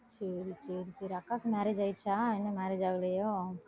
சரி சரி சரி அக்காவுக்கு marriage ஆயிடுச்சா இன்னும் marriage ஆகலையோ